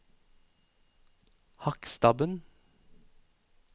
Hakkstabben